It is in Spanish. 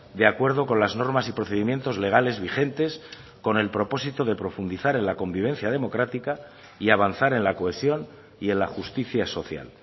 de acuerdo con las normas y procedimientos legales vigentes con el propósito de profundizar en la convivencia democrática y avanzar en la cohesión y en la justicia social